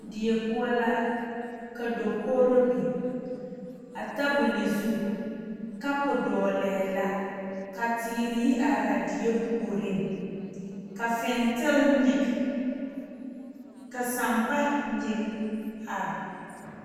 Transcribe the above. Die poɔ la ka dakogro biŋ a tabol zu kapu dɔglɛɛ la ka teere yi are a die puoriŋ ka fentele nyige ka sampa nyige are.